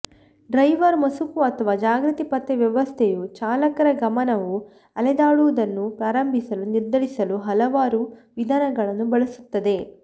driver ಮಸುಕು ಅಥವಾ ಜಾಗೃತಿ ಪತ್ತೆ ವ್ಯವಸ್ಥೆಯು ಚಾಲಕರ ಗಮನವು ಅಲೆದಾಡುವುದನ್ನು ಪ್ರಾರಂಭಿಸಲು ನಿರ್ಧರಿಸಲು ಹಲವಾರು ವಿಧಾನಗಳನ್ನು ಬಳಸುತ್ತದೆ